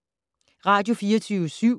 Radio24syv